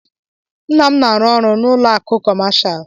Nna m na-arụ ọrụ n'ụlọ akụ kọmashal.